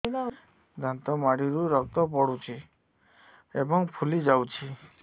ଦାନ୍ତ ମାଢ଼ିରୁ ରକ୍ତ ପଡୁଛୁ ଏବଂ ଫୁଲି ଯାଇଛି